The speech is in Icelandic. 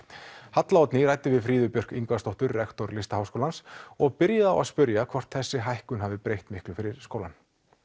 halla Oddný ræddi við Fríðu Björk Ingvarsdóttur rektor Listaháskólans og byrjaði á að spyrja hvort þessi hækkun hafi breytt miklu fyrir skólann